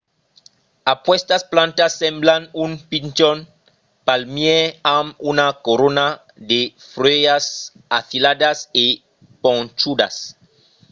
aquestas plantas semblan un pichon palmièr amb una corona de fuèlhas afiladas e ponchudas